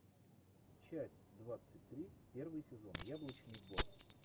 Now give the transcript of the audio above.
часть двадцать три первый сезон яблочный двор